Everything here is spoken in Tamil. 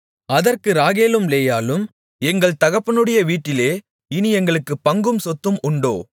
அதற்கு ராகேலும் லேயாளும் எங்கள் தகப்பனுடைய வீட்டிலே இனி எங்களுக்குப் பங்கும் சொத்தும் உண்டோ